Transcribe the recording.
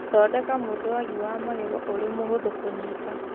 Thondeka mũthwagi wa magego ũrĩ mũhũthũ kũnyiita.